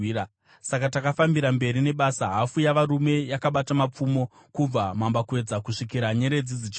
Saka takafambira mberi nebasa, hafu yavarume yakabata mapfumo, kubva mambakwedza kusvikira nyeredzi dzichibuda.